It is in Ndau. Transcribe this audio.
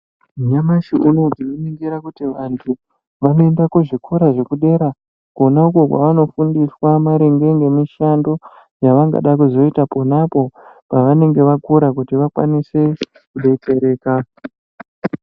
Nyamashi unowu tinoningira kuti vantu vanoenda kuzvikora zvedera kona uko kwavanofundiswa maringe nemishando yavangada kuzoita ponapo pavanenge vakura kuti vakwanise kubetsereka.